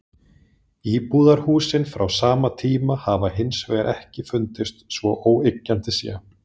Íbúðarhúsin frá sama tíma hafa hins vegar ekki fundist svo óyggjandi sé.